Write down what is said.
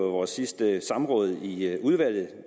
vores sidste samråd i udvalget at